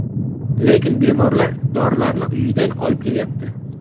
Lekin bemorlar dorilarni uyidan olib kelyapti.